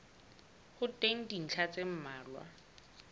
ho teng dintlha tse mmalwa